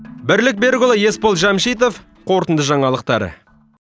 бірлік берікұлы есбол жәмшитов қорытынды жаңалықтар